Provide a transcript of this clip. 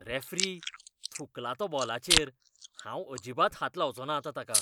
Referee, थुंकला तो बॉलाचेर. हांव अजिबात हात लावचोंना आतां ताका.